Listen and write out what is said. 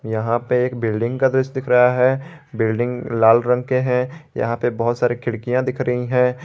यहां पे एक बिल्डिंग का दृश्य दिख रहा है बिल्डिंग लाल रंग के हैं यहां पे बहुत सारे खिड़कियां दिख रही हैं।